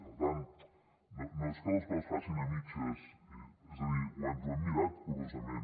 per tant no és que les coses es facin a mitges és a dir ens ho hem mirat curosament